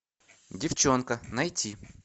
девчонка найти